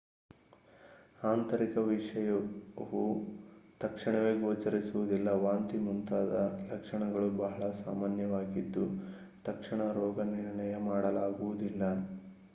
ಆಂತರಿಕ ವಿಷವು ತಕ್ಷಣವೇ ಗೋಚರಿಸುವುದಿಲ್ಲ ವಾಂತಿ ಮುಂತಾದ ಲಕ್ಷಣಗಳು ಬಹಳ ಸಾಮಾನ್ಯವಾಗಿದ್ದು ತಕ್ಷಣ ರೋಗನಿರ್ಣಯ ಮಾಡಲಾಗುವುದಿಲ್ಲ